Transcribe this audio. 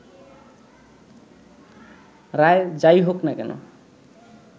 রায় যাই হোক না কেন